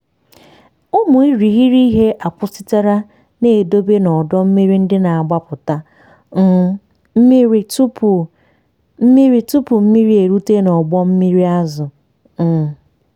ụmụ irighiri ihe akwụsịtụla na-edobe n'ọdọ mmiri ndị na-agbapụta um mmiri tupu mmiri tupu mmiri erute n'ụgbọ mmiri azụ. um